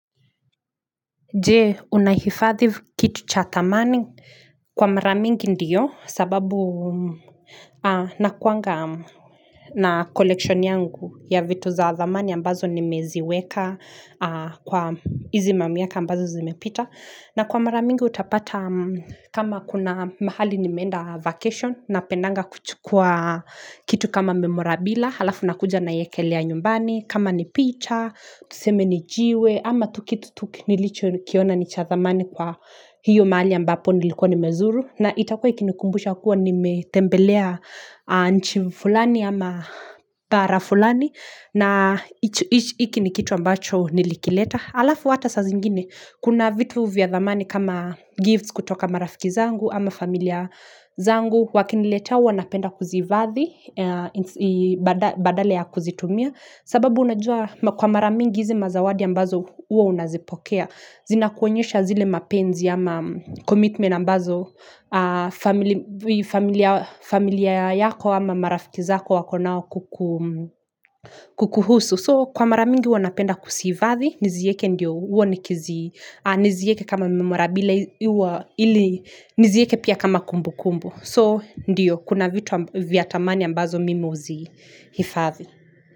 Je, unahifadhi kitu cha thamani? Kwa mara mingi ndiyo sababu nakuanga na collection yangu ya vitu za thamani ambazo nimeziweka kwa hizi mamiaka ambazo zimepita na kwa maramingi utapata kama kuna mahali nimeenda vacation napendanga kuchukua kitu kama memorabila halafu nakuja naiekelea nyumbani kama ni picha tuseme ni jiwe ama tu kitu nilichokiona ni cha thamani kwa hiyo mahali ambapo nilikuwa nimezuru na itakuwa ikinikumbusha kuwa nimetembelea nchi fulani ama pahala fulani na hiki ni kitu ambacho nilikileta. Alafu hata saa zingine kuna vitu vya thamani kama gifts kutoka marafiki zangu ama familia zangu wakiniletea huwa napenda kuziifadhi badala ya kuzitumia sababu unajua kwa maramingi hizi mazawadi ambazo huwa unazipokea zinakuonyesha zile mapenzi ama commitment ambazo familia familia yako ama marafiki zako wako nao kukuhusu so kwa maramingi huwa napenda kuziifadhi nizieke ndio nizieke kama memorabila nizieke pia kama kumbukumbu so ndio kuna vitu avya thamani ambazo mimi huzihifadhi.